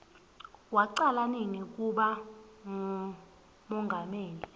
wacala nini kuba ngumongameli